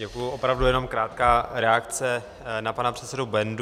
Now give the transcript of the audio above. Děkuji, opravdu jenom krátká reakce na pana předsedu Bendu.